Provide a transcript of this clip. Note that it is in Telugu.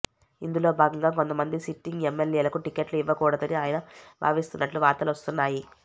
ఇందులో భాగంగా కొంతమంది సిట్టింగ్ ఎమ్మెల్యేలకు టికెట్లు ఇవ్వకూడదని ఆయన భావిస్తున్నట్లు వార్తలు వస్తున్నాయి